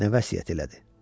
Nə vəsiyyət elədi?